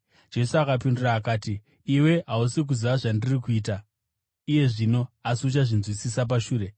Jesu akapindura achiti, “Iwe hausi kuziva zvandiri kuita iye zvino, asi uchazvinzwisisa pashure.”